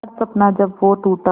हर सपना जब वो टूटा